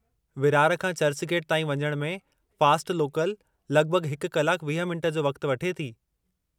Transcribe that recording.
विरार खां चर्चगेट ताईं वञणु में फ़ास्ट लोकल लगि॒भगि॒ हिकु कलाक 20 मिंट जो वक़्ति वठे थी।